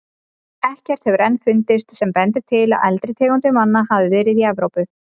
Ekkert hefur enn fundist sem bendir til að eldri tegundir manna hafi verið í Evrópu.